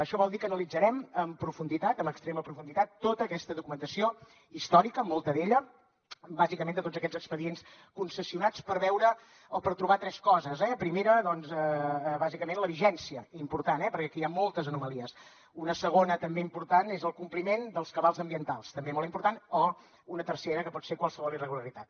això vol dir que analitzarem amb profunditat amb extrema profunditat tota aquesta documentació històrica molta d’ella bàsicament de tots aquests expedients concessionats per veure o per trobar tres coses eh primera doncs bàsicament la vigència important eh perquè aquí hi ha moltes anomalies una segona també important és el compliment dels cabals ambientals també molt important o una tercera que pot ser qualsevol irregularitat